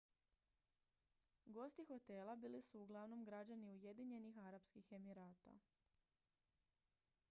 gosti hotela bili su uglavnom građani ujedinjenih arapskih emirata